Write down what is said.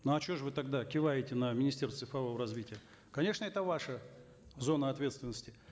ну а что же вы тогда киваете на министерство цифрового развития конечно это ваша зона ответственности